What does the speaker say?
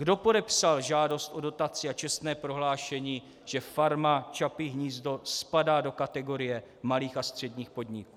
Kdo podepsal žádost o dotaci a čestné prohlášení, že Farma Čapí hnízdo spadá do kategorie malých a středních podniků?